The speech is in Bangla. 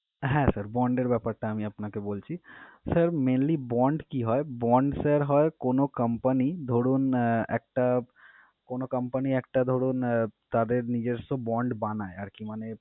হ্যাঁ sir bond এর ব্যাপারটা আমি আপনাকে বলছি। Sir mainly bond কি হয়? Bond sir হয় কোন company ধরুন, আহ একটা কোন company একটা ধরুন আহ তাদের নিজস্ব bond বানায় আরকি মানে